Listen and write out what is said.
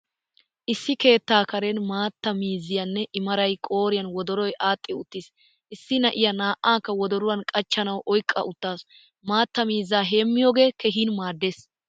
Issi keetta karen maattaa miiziyanne i maray qoriyan wodoroy adhdhi uttiis. Issi na'iyaa naa'akka wodoruwan qachchanawu oyqqa uttaasu. Maattaa miizzaa heemiyoge keehin maaddees.